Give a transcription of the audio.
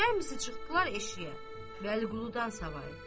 Cəmsi çıxdılar eşiyə, Bəliquludan savayı.